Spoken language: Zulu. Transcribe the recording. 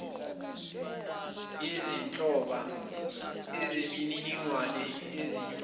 izinhloba zemininingwane izinyunyana